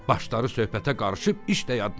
Başları söhbətə qarışıb, iş də yaddan çıxıb.